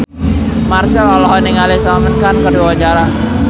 Marchell olohok ningali Salman Khan keur diwawancara